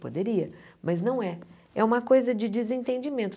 Poderia, mas não é. É uma coisa de desentendimento.